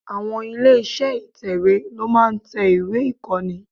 Àwon ilé iṣẹ́ ìtẹ̀wè ló máa ń tẹ ìwé ìkọ́ni.